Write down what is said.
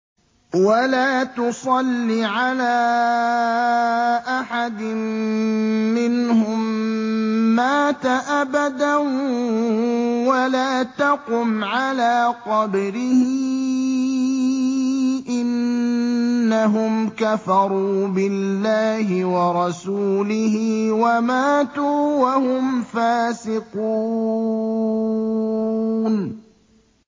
وَلَا تُصَلِّ عَلَىٰ أَحَدٍ مِّنْهُم مَّاتَ أَبَدًا وَلَا تَقُمْ عَلَىٰ قَبْرِهِ ۖ إِنَّهُمْ كَفَرُوا بِاللَّهِ وَرَسُولِهِ وَمَاتُوا وَهُمْ فَاسِقُونَ